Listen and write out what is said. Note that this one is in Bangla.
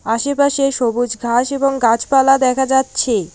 আশেপাশে সবুজ ঘাস এবং গাছপালা দেখা যাচ্ছে।